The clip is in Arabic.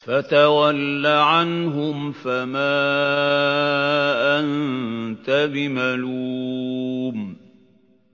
فَتَوَلَّ عَنْهُمْ فَمَا أَنتَ بِمَلُومٍ